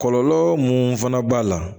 Kɔlɔlɔ mun fana b'a la